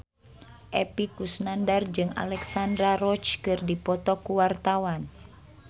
Epy Kusnandar jeung Alexandra Roach keur dipoto ku wartawan